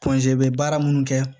baara minnu kɛ